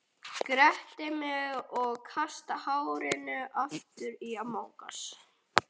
Gretti mig og kasta hárinu aftur á bak.